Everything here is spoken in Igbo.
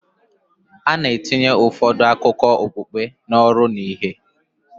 A na-etinye ụfọdụ akụkọ okpukpe n'ọrụ na ìhè